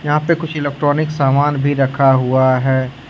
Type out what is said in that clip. यहां पे कुछ इलेक्ट्रॉनिक सामान भी रखा हुआ है।